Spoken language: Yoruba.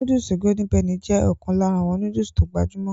Nóódùsì Golden penny jé ọ̀kan lára àwọn nóódùsì tó gbajúmọ̀